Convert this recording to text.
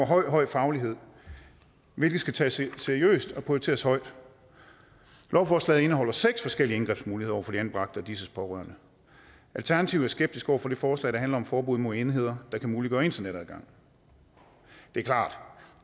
høj høj faglighed hvilket skal tages seriøst og prioriteres højt lovforslaget indeholder seks forskellige indgrebsmuligheder over for de anbragte og disses pårørende alternativet er skeptisk over for det forslag der handler om forbud mod enheder der kan muliggøre internetadgang det er klart